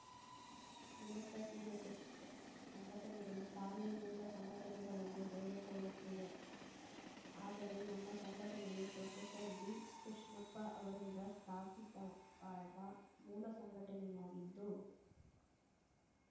ಅನೇಕ ಡಿಎಸ್‌ಎಸ್‌ ಸಂಘಟನೆಗಳು ತಾವೇ ಮೂಲ ಸಂಘಟನೆಗಳೆಂದು ಹೇಳಿಕೊಳ್ಳುತ್ತಿವೆ ಆದರೆ ನಮ್ಮ ಸಂಘಟನೆಯು ಪ್ರೊಫೆಸರ್ಬಿಕೃಷ್ಣಪ್ಪ ಅವರಿಂದ ಸ್ಥಾಪಿಸವಾದ ಮೂಲ ಸಂಘಟನೆಯಾಗಿದ್ದು